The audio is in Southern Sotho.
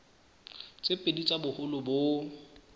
tse pedi tsa boholo bo